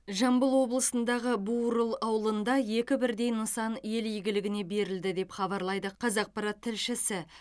жамбыл облысындағы бурыл ауылында екі бірдей нысан ел игілігіне берілді деп хабарлайды қазақпарат тілшісі